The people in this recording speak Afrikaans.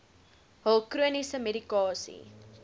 hul chroniese medikasie